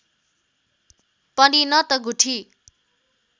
पनि न त गुठी